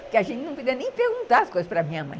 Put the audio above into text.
Porque a gente não podia nem perguntar as coisas para a minha mãe.